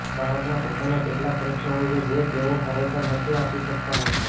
બાળકના પોતાના કેટલાક પ્રશ્નો હોય છે જે તેઓ ખરેખર નથી આપી શકતાં હોતા